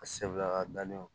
A segula dalen